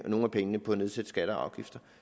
nogle af pengene på at nedsætte skatter og afgifter